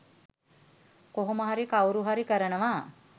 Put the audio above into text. කොහොම හරි කවුරු හරි කරනවා.